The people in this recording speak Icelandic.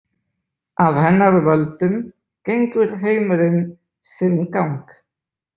Af hennar völdum gengur heimurinn sinn gang.